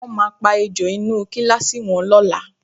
Wọ́n máa pa ejò inú kíláàsì wọn lọ́la